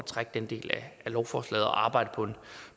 trække den del af lovforslaget og arbejde